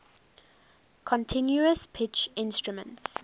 continuous pitch instruments